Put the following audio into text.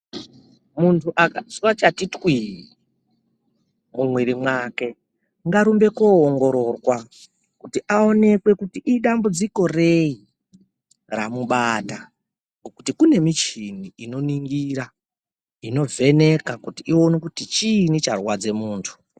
Muntu akazwa chati twii, mumwiri mwake ngarumbe koongororwa kuti aonekwe kuti idambudziko rei ramubata ngokuti kunemichini inoningira inovheneka kuti ione kuti chinyi charwadze muntu.